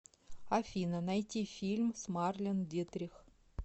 афина найти фильм с марлен дитрих